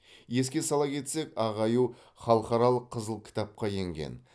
еске сала кетсек ақ аю халықаралық қызыл кітапқа енген